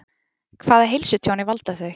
Hvaða heilsutjóni valda þau?